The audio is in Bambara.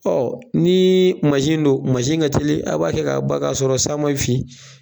ni don ka teli a b'a kɛ ka ban ka sɔrɔ san ma fin